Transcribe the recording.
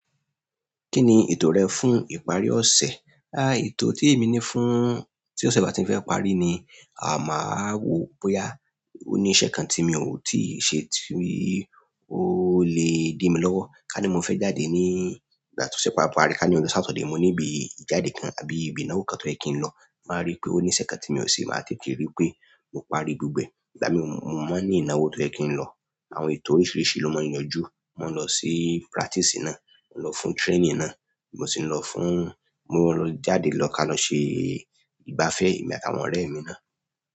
Kí ni ètò rẹ fún ìparí ọ̀sẹ̀? Ètò tí èmi ní fún, tí ọ̀sẹ̀ bá ti ń fẹ́ parí ni, máa wo bóyá ó ní iṣẹ́ kan tí mi ò tíì ṣe tí ó lè di mí lọ́wọ́. Kani mo fẹ jáde ní ìgbà ti ọsẹ baa parí, kani ọjọ Saturday mo ni ibi ijade kan, àbí ibi ìnáwó kan to yẹ ki i lọ, mo wá ri pé oni iṣẹ́ kan tó yẹ kii ṣe, máa tètè parí gbogbo e ìgbà mì mọ́ ní ìnáwó tó ẹ́ kí i lọ. Àwọn ètò oríṣiríṣi ló máa yanjú. Mo lọ sí practice náà, mo lọ fún training náà, mo sì lọ fún, mo jáde lọ ká lọ ṣe ìgbafẹ́ èmi àti àwọn ọ̀rẹ́ mi náà.